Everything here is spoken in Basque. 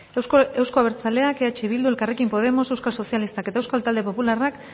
euzko abertzaleak eh bildu elkarrekin podemos euskal sozialistak eta euskal talde popularrak